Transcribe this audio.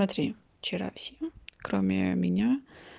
смотри вчера всем кроме меня